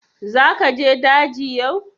Za ka je daji yau?